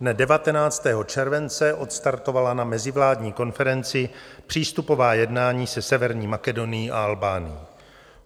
Dne 19. července odstartovala na mezivládní konferenci přístupová jednání se Severní Makedonií a Albánií.